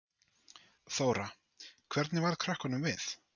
Þóra: Hvernig varð krökkunum við?